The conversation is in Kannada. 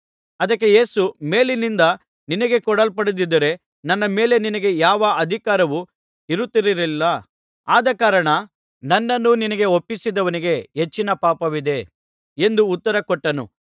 ಅದಕ್ಕೆ ಯೇಸು ಮೇಲಿನಿಂದ ನಿನಗೆ ಕೊಡಲ್ಪಡದಿದ್ದರೆ ನನ್ನ ಮೇಲೆ ನಿನಗೆ ಯಾವ ಅಧಿಕಾರವೂ ಇರುತ್ತಿರಲಿಲ್ಲ ಆದಕಾರಣ ನನ್ನನ್ನು ನಿನಗೆ ಒಪ್ಪಿಸಿದವನಿಗೆ ಹೆಚ್ಚಿನ ಪಾಪವಿದೆ ಎಂದು ಉತ್ತರ ಕೊಟ್ಟನು